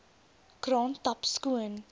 kraan tap skoon